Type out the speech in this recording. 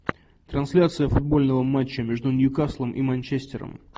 трансляция футбольного матча между ньюкаслом и манчестером